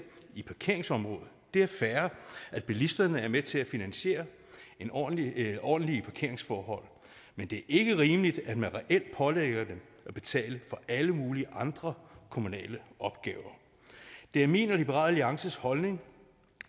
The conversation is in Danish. i parkeringsområdet det er fair at bilisterne er med til at finansiere ordentlige ordentlige parkeringsforhold men det ikke rimeligt at man reelt pålægger dem at betale for alle mulige andre kommunale opgaver det er min og liberal alliances holdning